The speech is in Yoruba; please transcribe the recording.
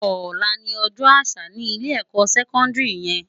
Òlá ni òjò ásà ni ilé èkò sèkòndiri yèn